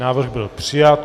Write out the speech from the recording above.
Návrh byl přijat.